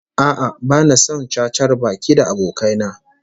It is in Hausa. A'a, bani son cacar baki da abokai na